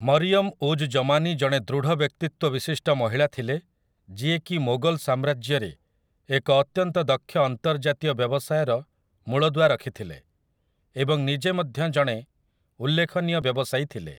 ମରିୟମ୍ ଉଜ୍ ଜମାନୀ ଜଣେ ଦୃଢ଼ ବ୍ୟକ୍ତିତ୍ୱ ବିଶିଷ୍ଟ ମହିଳା ଥିଲେ ଯିଏକି ମୋଗଲ ସାମ୍ରାଜ୍ୟରେ ଏକ ଅତ୍ୟନ୍ତ ଦକ୍ଷ ଅନ୍ତର୍ଜାତୀୟ ବ୍ୟବସାୟର ମୂଳଦୁଆ ରଖିଥିଲେ, ଏବଂ ନିଜେ ମଧ୍ୟ ଜଣେ ଉଲ୍ଲେଖନୀୟ ବ୍ୟବସାୟୀ ଥିଲେ ।